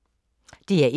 DR1